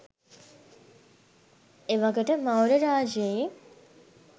එවකට මෞර්ය රාජ්‍යයේ